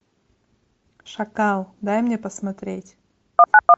шакал дай мне посмотреть